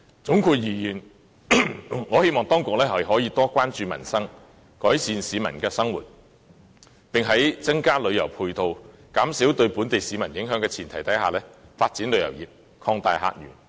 總括而言，我希望當局可以多關注民生，改善市民的生活，並在增加旅遊配套，減少對本地市民影響的前提下發展旅遊業，擴大客源。